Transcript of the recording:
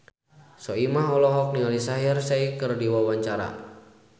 Soimah olohok ningali Shaheer Sheikh keur diwawancara